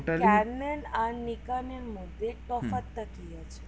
আর নিকালের মধ্যে তফাৎ টা কি